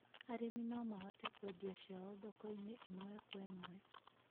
Arĩmi no mahote kũendia ciao thoko-inĩ ĩmwe kwa ĩmwe.